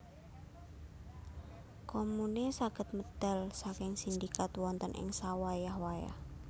Komune saged medal saking sindikat wonten ing sawayah wayah